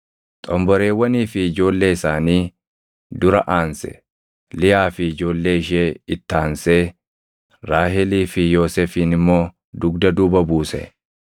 Xomboreewwanii fi ijoollee isaanii dura aanse; Liyaa fi ijoollee ishee itti aansee, Raahelii fi Yoosefin immoo dugda duuba buuse.